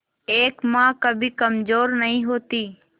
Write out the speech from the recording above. एक मां कभी कमजोर नहीं होती